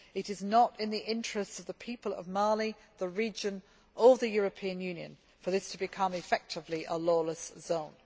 It is not in the interests of the people of Mali, the region or the European Union for this to become effectively a lawless zone.